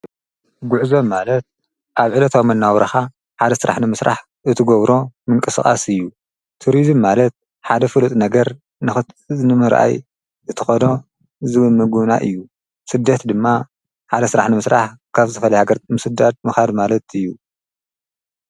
ጕዕዞ ማለት ኣብ ዒለትኣም እናውራኻ ሓደ ሥራሕ ኒ ምሥራሕ እቲጐብሮ ምንቀሥቓስ እዩ ቱርዜ ማለት ሓደ ፍሉጥ ነገር ንኽትዝንምርኣይ እተቐዶ ዝብምጉና እዩ ስደት ድማ ሓደ ሥራሕ ን ምሥራሕ ካብ ዘፈልይ ሃገር ምስዳድ ምዃድ ማለት እዩ።